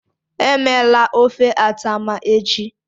Emela ofe atama echi.